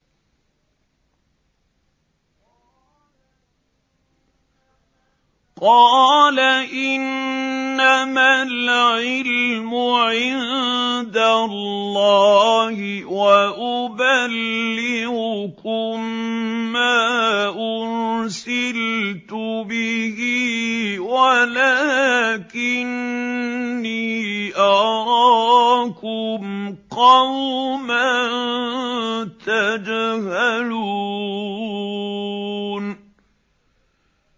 قَالَ إِنَّمَا الْعِلْمُ عِندَ اللَّهِ وَأُبَلِّغُكُم مَّا أُرْسِلْتُ بِهِ وَلَٰكِنِّي أَرَاكُمْ قَوْمًا تَجْهَلُونَ